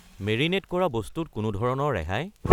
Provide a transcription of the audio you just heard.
Marinate কৰা বস্তু ত কোনো ধৰণৰ ৰেহাই?